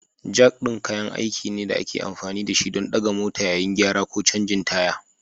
Jak ɗin kayan aiki ne da ake amfani da shi don ɗaga mota yayin gyara ko canjin taya.